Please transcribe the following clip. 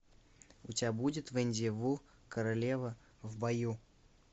у тебя будет венди ву королева в бою